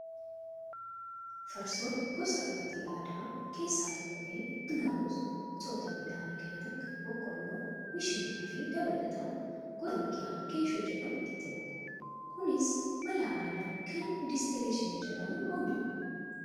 Farsoon gosa dhugaatii aadaa keessaa tokko ta'ee, kan naqamus gosoota midhaanii kanneen akka boqqoolloo, mishingaa fi dabalataan gosa biqilaa geeshoo jedhamu itti naqu. Kunis mala aadaa kan distileeshinii jedhamuun oomishama.